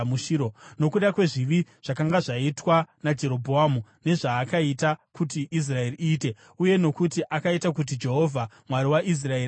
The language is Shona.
nokuda kwezvivi zvakanga zvaitwa naJerobhoamu nezvaakaita kuti Israeri iite, uye nokuti akaita kuti Jehovha, Mwari waIsraeri, atsamwe.